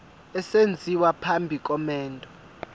esenziwa phambi komendo